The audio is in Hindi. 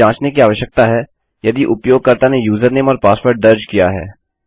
हमें जाँचना की आवश्यकता है यदि उपयोगकर्ता ने यूजरनेम और पासवर्ड दर्ज किया है